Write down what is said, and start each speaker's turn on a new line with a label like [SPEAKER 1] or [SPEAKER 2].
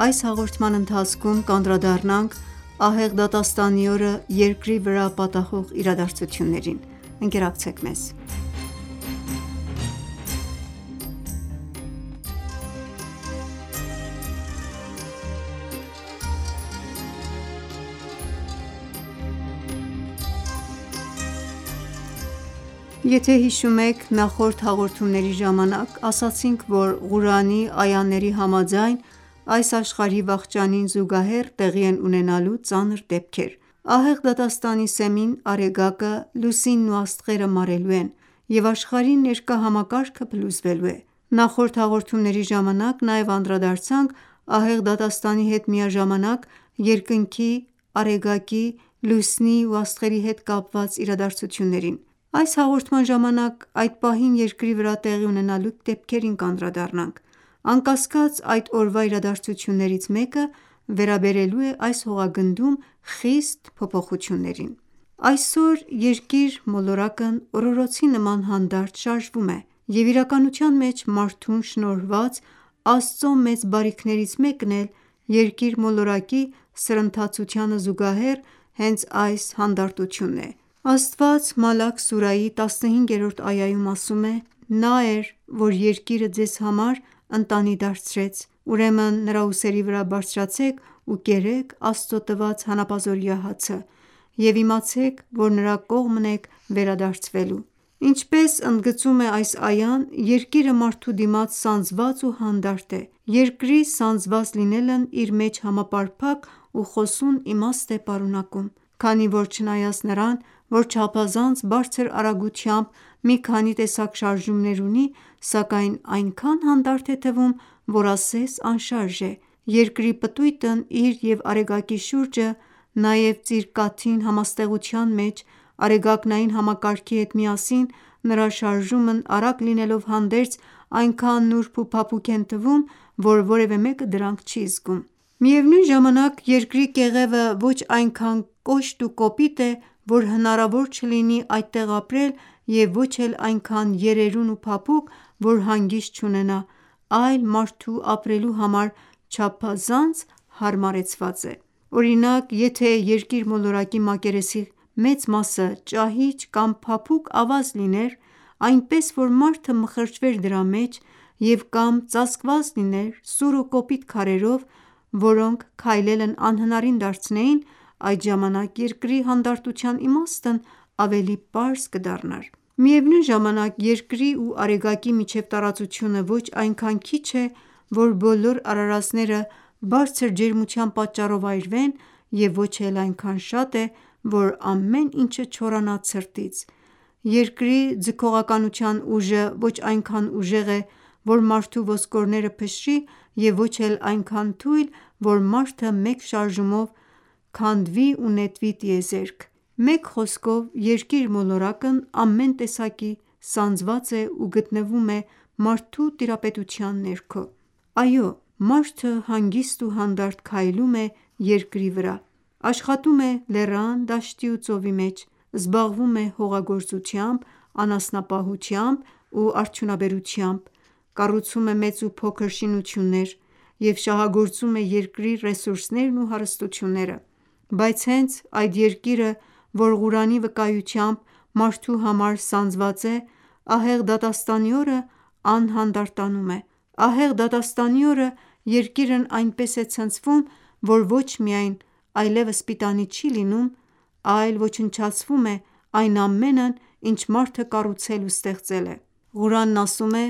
[SPEAKER 1] Այս հաղորդման ընթացքում կանդրադառնանք ահեղ դատաստանի օրը Երկրի վրա պատահող իրադարձություններին: Ողջույն թանկագին բարեկամներ: «Ճանաչենք իսլամը» հաղորդաշարում կանդրադառնանք ահեղ դատաստանին ու դրա հետ կապված իրադարձություններին: Ասացինք, որ Ղուրանի այաների համաձայն այս աշխարհի վախճանին զուգահեռ տեղի են ունենալու ծանր դեպքեր: Ահեղ դատաստանի սեմին Արեգակը, Լուսինն ու աստղերը մարելու են և աշխարհի ներկա համակարգը փլուզվելու է: Նախորդ հաղորդումների ժամանակ անդրադարձանք ահեղ դատաստանի հետ միաժամանակ երկնքի, Արեգակի, Լուսնի ու աստղերի հետ կապված իրադարձություններին: Այս հաղորդման ժամանակ կանդրադառնանք այդ պահին Երկրի վրա տեղի ունենալիք դեպքերին: Անկասկած այդ օրվա իրադարձություններից մեկը վերաբերելու է այս հողագնդում խիստ փոփոխություններին: Այսօր Երկիր մոլորակն օրօրոցի նման հանդարտ շարժվում է և իրականության մեջ մարդուն շնորհված Աստծո մեծ բարիքներից մեկն էլ Երկիր մոլորակի սրընթացությանը զուգահեռ հենց այս հանդարտությունն է: Աստված «Մալաք» սուրայի 15-րդ այաում ասում է. «Նա էր, որ Երկիրը Ձեզ համար ընտանի դարձրեց, ուրեմն նրա ուսերի վրա բարձրացեք ու կերեք Աստծո տված հանապազօրյա հացը: Եվ իմացեք, որ նրա կողմն եք վերադարձվելու»: Ինչպես ընդգծում է այս այան Երկիրը մարդու դիմաց սանձված ու հանդարտ է: Երկրի սանձված լինելն իր մեջ համապարփակ ու խոսուն իմաստ է պարունակում: Քանի որ չնայած նրան, որ չափազանց բարձր արագությամբ մի քանի տեսակ շարժումներ ունի, սակայն այնքան հանդարտ է թվում, որ ասես անշարժ է: Երկրի պտույտն իր և Արեգակի շուրջը, նաև Ծիրկաթին համաստեղության մեջ Արեգակնային համակարգի հետ միասին նրա շարժումն արագ լինելով հանդերձ այնքան նուրբ ու փափուկ են թվում, որ որևէ մեկը դրանք չի զգում: Միևնույն ժամանակ Երկրի կեղևը ոչ այնքան կոշտ ու կոպիտ է, որ հնարավոր չլինի այդտեղ ապրել և ոչ էլ այնքան երերուն ու փափուկ, որ հանգիստ չունենա, այլ մարդու ապրելու համար չափազանց հարմարեցված է: Օրինակ եթե Երկիր մոլորակի մակերեսի խոշոր մասը ճահիճ կամ փափուկ ավազ լիներ, այնպես որ մարդը մեխրճվեր դրա մեջ և կամ ծածկված լիներ սուր ու կոպիտ քարերով, որոնք քայլելն անհնարին դարձնեին, այդ ժամանակ Երկրի հանդարտության իմաստն ավելի պարզ կդառնար: Միևնույն ժամանակ Երկրի ու Արեգակի միջև տարածությունը ոչ այնքան քիչ է, որ բոլոր արարածները բարձր ջերմության պատճառով այրվեն և ոչ էլ այնքան շատ է, որ ամեն ինչը չորանա ցրտից: Երկրի ձգողականության ուժը ոչ այնքան ուժեղ է, որ մարդու ոսկորները փշրի և ոչ էլ այնքան թույլ, որ մարդը մեկ շարժումով տեղից քանդվի ու նետվի տիեզերք: Մեկ խոսքով Երկիր մոլորակն ամեն տեսակետից սանձված է ու գտնվում է մարդու տիրապետության ներքո: Այո, մարդը հանգիստ ու հանդարտ քայլում է Երկրի վրա, աշխատում է լեռան, դաշտի ու ծովի մեջ, զբաղվում է հողագործությամբ, անասնապահությամբ ու արդյունաբերությամբ, կառուցում է մեծ ու փոքր շինություններ և շահագործում է Երկրի ռեսուրսներն ու հարստությունները: Բայց հենց այդ Երկիրը, որ Ղուրանի վկայությամբ մարդու համար սանձված է, ահեղ դատաստանի օրը անհանդարտանում է: Ահեղ դատաստանի օրը Երկիրն այնպես է ցնցվում, որ ոչ միայն այլևս պիտանի չի լինում, այլ ոչնչացվում է այն ամենն ինչ մարդը կառուցել ու ստեղծել է: Ղուրանն ասում է.